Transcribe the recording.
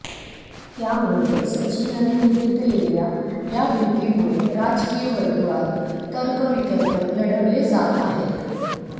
त्यामुळे सचिनने घेतलेल्या या भेटीमुळे राजकीय वर्तुळात तर्कवितर्क लढवले जात आहेत